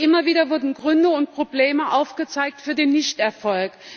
Und immer wieder wurden Gründe und Probleme aufgezeigt für den Misserfolg.